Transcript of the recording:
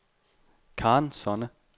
Karen Sonne